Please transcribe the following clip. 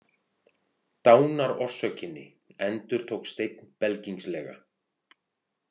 Dánarorsökinni, endurtók Steinn belgingslega.